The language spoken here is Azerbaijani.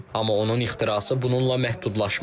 Amma onun ixtirası bununla məhdudlaşmır.